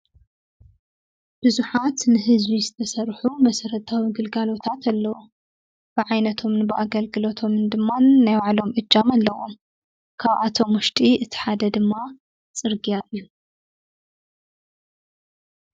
ብዙሓት ንህዝቢ ዝተሰርሑ መሰረታዊ ግልጋሎታት ኣለው። ብዓይነቶምን ብኣገልግሎቶም ድማ ናይ ባዕሎም እጃም ኣለዎም ።ካበኣቶም ውሽጢ እቲ ሓደ ድማ ፅርግያ እዩ።